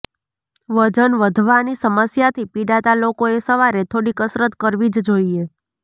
વજન વધવાની સમસ્યાથી પિડાતા લોકોએ સવારે થોડી કસરત કરવી જ જોઈએ